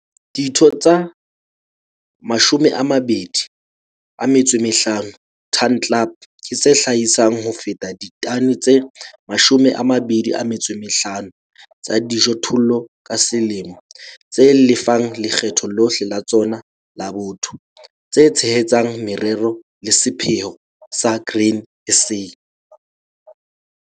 Ditho tsa 250 Ton Club ke tse hlahisang ho feta ditone tse 250 tsa dijothollo ka selemo, tse lefang lekgetho lohle la tsona la botho, tse tshehetsang merero le sepheo sa Grain SA.